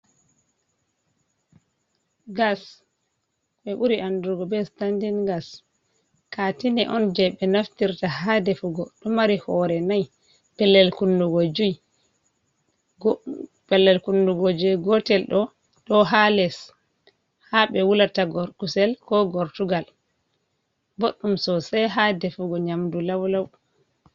Gas ɓe ɓuri andugo be standin gas. Katine on je ɓe naftirta ha defugo ɗo mari hore nai pellel kunnugo jui. Pellel kunnugo gotel ɗo ɗo ha les ha ɓe wulata kusel ko gortugal boɗɗum sosai ha defugo nyamdu laulau..